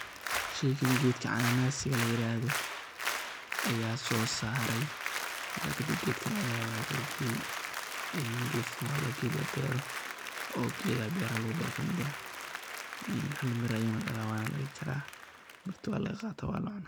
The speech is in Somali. Sheygan gedkan cana nasiga layirado, aya sosarey marka kadib gedka aya ohagajiya en gedkan wa ged labero oo ged gedaha beraha lagubero kamid ah hal mir ah ayu dala mirta walaga qata wala cuna.